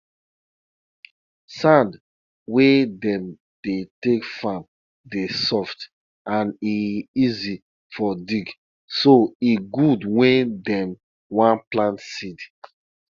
whenever you dey turn thick yoghurt dey turn am small small so the yoghurt go continue to dey feel smooth when you toch or taste am